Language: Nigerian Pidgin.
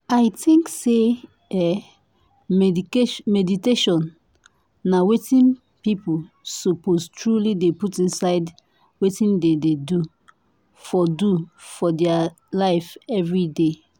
i think say eeh meditation na wetin people suppose truely dey put inside wetin dem dey do for do for dia life everyday.